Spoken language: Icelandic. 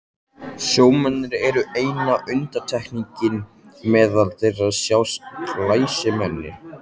Sjómennirnir eru eina undantekningin, meðal þeirra sjást glæsimenni.